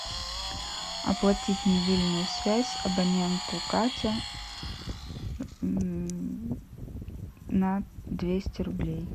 оплатить мобильную связь абоненту катя на двести рублей